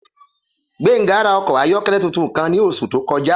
Gbénga rà okò ayókélé tuntun kan ní osù tó kojá